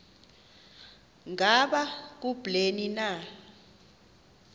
ngaba kubleni na